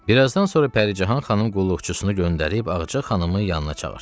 Birazdan sonra Pəricahan xanım qulluqçusunu göndərib Ağca xanımı yanına çağırtırdı.